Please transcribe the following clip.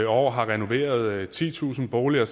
år har renoveret titusind boliger